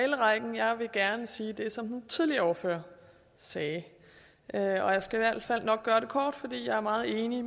talerrækken jeg vil gerne sige det som den tidligere ordfører sagde og jeg skal i hvert fald nok gøre det kort for jeg er meget enig